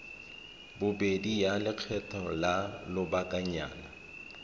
bobedi ya lekgetho la lobakanyana